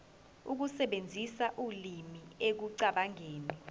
ukusebenzisa ulimi ekucabangeni